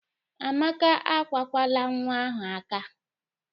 Amaka akwakwala nwa ahụ aka!